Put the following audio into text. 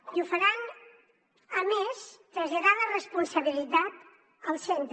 i ho faran a més traslladant la responsabilitat al centre